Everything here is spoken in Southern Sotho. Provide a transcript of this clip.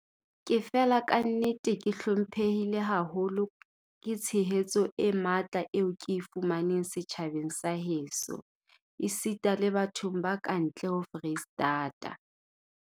"Ke fela kannete ke hlomphehile haholo ke tshehetso e matla eo ke e fumaneng setjhabeng sa heso esita le bathong ba ka ntle ho Freistata."